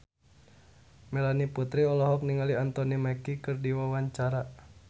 Melanie Putri olohok ningali Anthony Mackie keur diwawancara